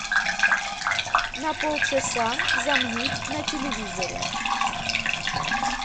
на полчаса замьють на телевизоре